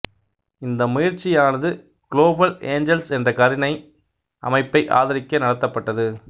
இந்த முயற்சியானது global angels என்ற கருணை அமைப்பை ஆதரிக்க நடத்தப்பட்டது